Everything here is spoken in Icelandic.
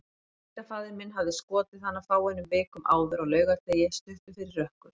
Tengdafaðir minn hafði skotið hana fáeinum vikum áður, á laugardegi, stuttu fyrir rökkur.